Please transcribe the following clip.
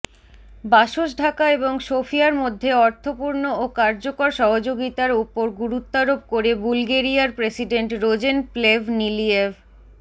বাসসঢাকা এবং সোফিয়ার মধ্যে অর্থপূর্ণ ও কার্যকর সহযোগিতার ওপর গুরুত্বারোপ করে বুলগেরিয়ার প্রেসিডেন্ট রোজেন প্লেভনিলিয়েভ